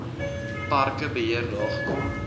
parke beheer nagekom